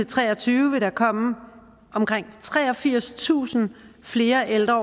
tre og tyve vil der komme omkring treogfirstusind flere ældre